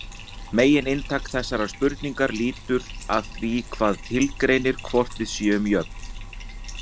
Megininntak þessarar spurningar lítur að því hvað tilgreinir hvort við séum jöfn.